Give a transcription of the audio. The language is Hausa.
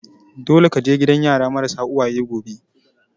Dole ka je gidan yara marasa uwaye gobe!